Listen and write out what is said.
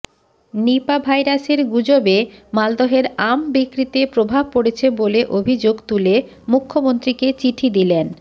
নিপা ভাইরাসের গুজবে মালদহের আম বিক্রিতে প্রভাব পড়েছে বলে অভিযোগ তুলে মুখ্যমন্ত্রীকে চিঠি দিলেন